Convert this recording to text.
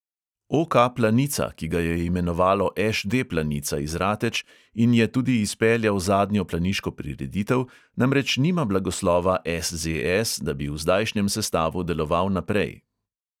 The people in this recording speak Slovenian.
OK planica, ki ga je imenovalo ŠD planica iz rateč in je tudi izpeljal zadnjo planiško prireditev, namreč nima blagoslova SZS, da bi v zdajšnjem sestavu deloval naprej.